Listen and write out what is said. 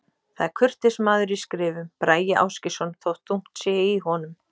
Það er kurteis maður í skrifum, Bragi Ásgeirsson, þótt þungt sé í honum.